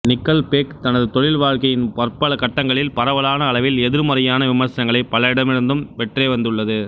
Nickelback தனது தொழில் வாழ்க்கையின் பற்பல கட்டங்களில் பரவலான அளவில் எதிர்மறையான விமர்சனங்களைப் பலரிடமிருந்தும் பெற்றே வந்துள்ளது